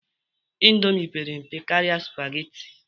Indomi pere mpe karịa spageti